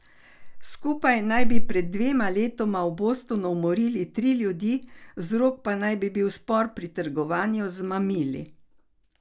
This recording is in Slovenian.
Skupaj naj bi pred dvema letoma v Bostonu umorila tri ljudi, vzrok pa naj bi bil spor pri trgovanju z mamili.